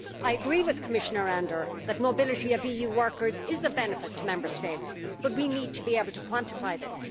I agree with Commissioner Andor that mobility of EU workers is of benefit to Member States, but we need to be able to quantify this.